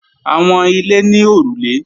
Àwọn ilé ní òrùlé